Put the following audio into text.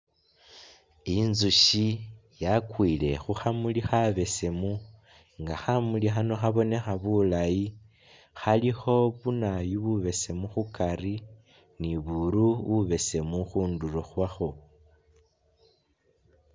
Intsushi yakwile khukhamuli khabesemu nga khamuli khano khabonekha bulaayi khalikho bunawoyu bubesemu khukari ni buru bubesemu khundulo khwakho